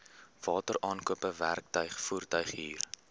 wateraankope werktuig voertuighuur